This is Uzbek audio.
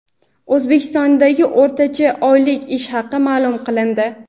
O‘zbekistondagi o‘rtacha oylik ish haqi maʼlum qilindi.